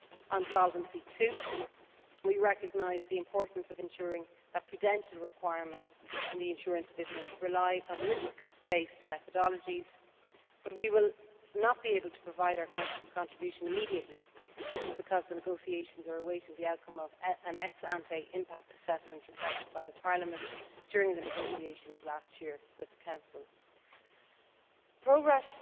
On Solvency II, we recognise the importance of ensuring that prudential requirements in the insurance business rely on risk based methodologies. But we will not be able to provide our contribution immediately. This is because the negotiations are awaiting the outcome of an ex ante impact assessment requested by the European Parliament during the negotiations last year with the Council. Progress